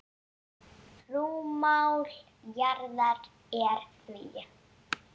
Rúmmál jarðar er því